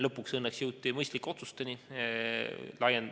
Lõpuks õnneks jõuti mõistlike otsusteni.